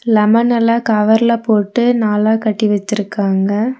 Lemon எல்லா கவர்ல போட்டு நாலா கட்டி வச்சிருக்காங்க.